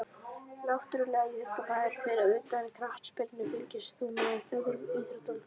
Náttúrulegur íþróttamaður Fyrir utan knattspyrnu, fylgist þú með öðrum íþróttum?